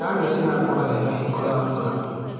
Nyanya cirakũra wega hingo ya mbura.